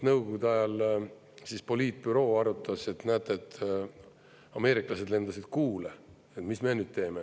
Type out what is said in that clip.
Nõukogude ajal poliitbüroo arutas, et näete, ameeriklased lendasid Kuule, mis me nüüd teeme.